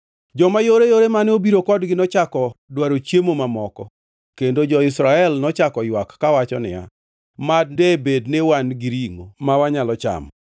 Joma yoreyore mane obiro kodgi nochako dwaro chiemo mamoko, kendo jo-Israel nochako ywak kawacho niya, “Mad debed ni wan gi ringʼo ma wanyalo chamo!